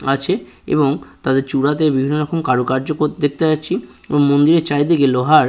আছে-এ এবং তাদের চূড়াতে বিভিন্ন রকম কারুকার্য ক দেখতে পাচ্ছি এবং মন্দিরের চারিদিকে লোহার--